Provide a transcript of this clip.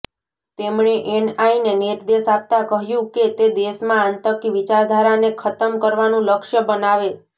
તેમણે એનઆઈને નિર્દેશ આપતાં કહ્યું કે તે દેશમાં આતંકી વિચારધારાને ખતમ કરવાનું લક્ષ્ય બનાવે